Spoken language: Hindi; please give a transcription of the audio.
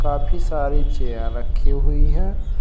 काफी सारे चेयर रखे हुई है।